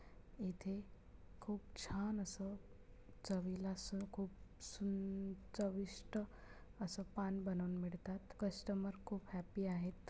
इथे खूप छान अस चवीला अस खूप सून चविष्ट अस पान बनवून मिळतात. कस्टमर खूप हॅप्पी आहेत.